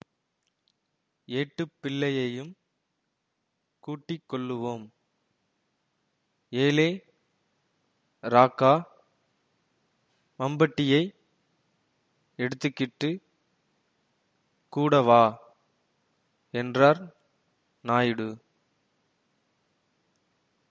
ஏட்டுப்பிள்ளையையும் கூட்டிக்கொள்ளுவோம் ஏலே ராக்கா மம்பட்டியை எடுத்துக்கிட்டு கூட வா என்றார் நாயுடு